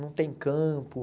Não tem campo.